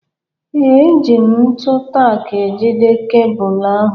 Ee, eji m ntu tack ejide kebụlụ ahụ